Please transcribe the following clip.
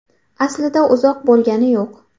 Aslida uzoq bo‘lgani yo‘q.